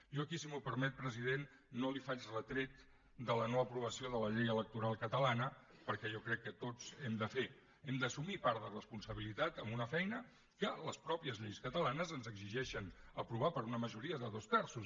jo aquí si m’ho permet president no li faig retret de la noaprovació de la llei electoral catalana perquè jo crec que tots hem de fer hem d’assumir part de responsabilitat en una feina que les mateixes lleis catalanes ens exigeixen aprovar per una majoria de dos terços